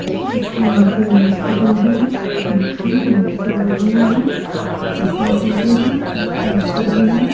एकठो यहाँ पर हॉस्पिटल है देखिए नेट सब लगा हुआ है मशीन ओसिन भी है डॉक्टर भी है।